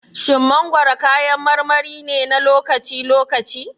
Shin mangwaro kayan marmari ne na lokaci-lokaci?